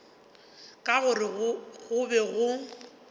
ka gore go be go